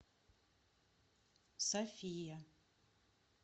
софия